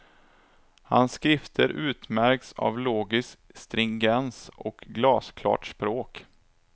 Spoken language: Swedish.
Hans skrifter utmärks av logisk stringens och glasklart språk.